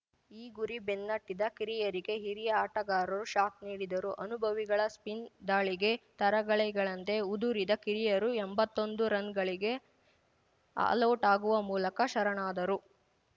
ಈ ಗುರಿ ಬೆನ್ನಟ್ಟಿದ ಕಿರಿಯರಿಗೆ ಹಿರಿಯ ಆಟಗಾರರು ಶಾಕ್‌ ನೀಡಿದರು ಅನುಭವಿಗಳ ಸ್ಪಿನ್‌ ದಾಳಿಗೆ ತರಗೆಲೆಗಳಂತೆ ಉದುರಿದ ಕಿರಿಯರು ಎಂಬತ್ತೊಂದು ರನ್‌ಗಳಿಗೆ ಆಲೌಟ್‌ ಆಗುವ ಮೂಲಕ ಶರಣಾದರು